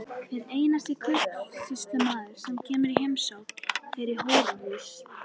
Hver einasti kaupsýslumaður, sem kemur í heimsókn, fer í hóruhús.